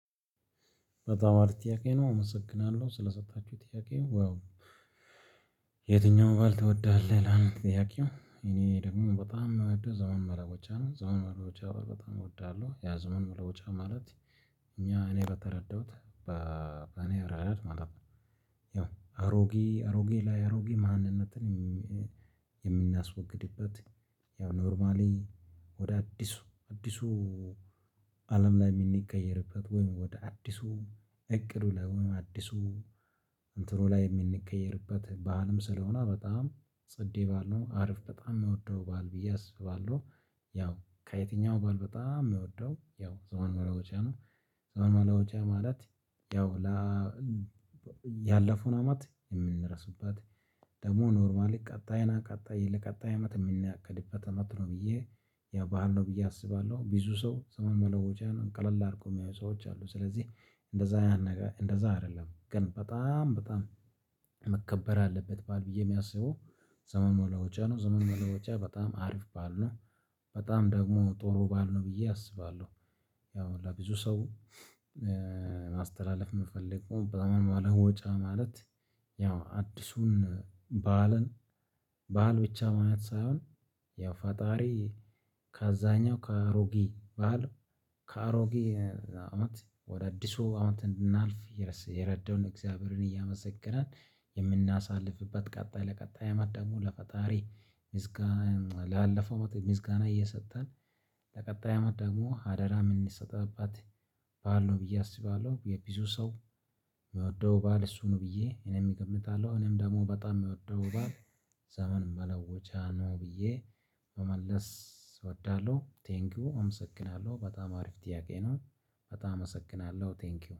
በጣም አሪፍ ጥያቄ ነው። እመሰግናለሁ ስለሰጣችሁ ጥያቄው። የትኛውም በዓል ትወዳለህ ይልላል ጥያቄው። እኔ ደግሞ በጣም የምወደው ዘመን መለወጫ ነው። ዘመን መለወጫ በጣም እወዳለሁ። ያ ዘመን መለወጫ ማለት እኛ እኔ በተረዳሁት በእኔ ረዳድ ማለት ነው ያው አሮጌ አሮጌ ላይ አሮጌ ማንነትን የምናስወግድበት ያው ኖርማሊ ወደ አዲሱ አዲሱ አለም ላይ የሚቀየርበት ወይም ወደ አዲሱ እቅድ ወደ አዲሱ እንትኑ ላይ የምንቀየርበት በዓልም ስለሆነ በጣም ጽዴ በዓል ነው። አሪፍ በጣም የምወደው በዓል ብዬ አስባለሁ። ያው ከየትኛው በዓል በጣም የምወደው ያው ዘመን መለወጫ ነው። ዘመን መለወጫ ማለት ያው ያለፈውን አመት የምንረሳበት ደግሞ ኖርማሊ ቀጣይና ቀጣይ ለቀጣይ አመት የምናቀድበት አመት ነው ብዬ ያው በዓል ነው ብዬ አስባለሁ። ብዙ ሰው ዘመን መለወጫን ቀለል አድርገው የሚያዩ ሰዎች አሉ። ስለዚህ እንደዛ አይደለም። ግን በጣም በጣም መከበር አለበት በዓል ብዬ የሚያስበው ዘመን መለወጫ ነው። ዘመን መለወጫ በጣም አሪፍ በዓል ነው። በጣም ደግሞ ጥሩ በዓል ነው ብዬ አስባለሁ። ያው ለብዙ ሰው ማስተላለፍ የምፈልገው በጣም በኋላ ወጫ ማለት ያው አዲሱን በዓልን በዓል ብቻ ማለት ሳይሆን ያው ፈጣሪ ከአዛኛው ከአሮጌ ባህል ከአሮጌ አመት ወደ አዲሱ አመት እንድናልፍ የረዳውን እግዚአብሔርን እያመሰገንን የምናሳልፍበት ቀጣይ ለቀጣይ አማት ደግሞ ለፈጣሪ ምስጋና ላለፈው ምስጋና እየሰጠን ለቀጣይ አመት ደግሞ አደራ እምሰጠበት በዓል ነው ብዬ አስባለሁ። የዙ ሰው የሚወደው በዓል እሱ ነው ብዬ እኔም እገምታለሁ። እኔም ደግሞ በጣም የሚወደው በዓል ዘመንም መለወጫ ነው ብዬ መመለስ እወዳለሁ። ቴንኪው። አመሰግናለሁ። በጣም አሪፍ ጥያቄ ነው። በጣም አመሰግናለሁ። ቴንኪው